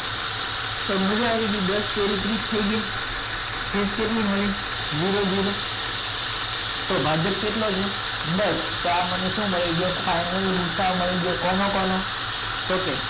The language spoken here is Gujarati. તો મજા આવી ગઈ દસ તરી ત્રીસ થાય ગઈ શેષ કેટલી મળી જીરો જીર તો ભાજક કેટલો છે દસ તો આ મને શું મળી ગયો ફાઇનલ ગુસઅ મળી ગયો કોનો કોનો તો કે